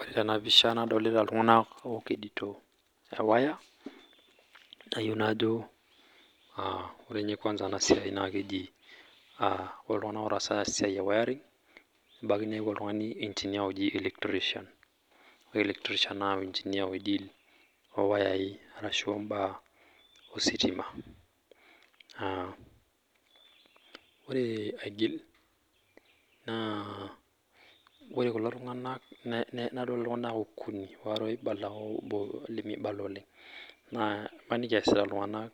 Ore tenapisha nadolita iltunganak ookedito ewaya, nayieu najo ore ninye siai kwansa naa keji ,ore iltunganak otaasa ena siai wayaring ebaiki niyakuku oltungani enginer oji electrician loowayai ashu mbaa ositima. Naa ore aigila naa ore kulo tunganak nadol iltunganak okuni waare oibala oobo lemibala oleng. Naa maniki eesita iltunganak